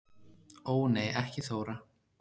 Ó nei ekki Þóra